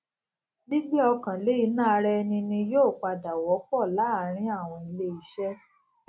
gbígbé ọkàn lé ìná ara ẹni ni yóò pdà wópò láàárín àwọn ilé iṣé